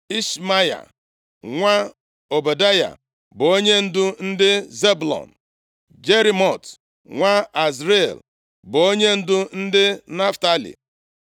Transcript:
Ishmaya nwa Ọbadaya bụ onyendu ndị Zebụlọn; Jerimot nwa Azriel bụ onyendu ndị Naftalị;